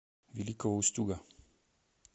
великого устюга